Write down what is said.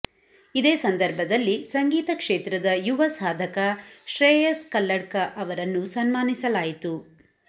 ಇದೇ ಸಂದರ್ಭದಲ್ಲಿ ಸಂಗೀತ ಕ್ಷೇತ್ರದ ಯುವ ಸಾಧಕ ಶ್ರೇಯಸ್ ಕಲ್ಲಡ್ಕ ಅವರನ್ನು ಸನ್ಮಾನಿಸಲಾಯಿತು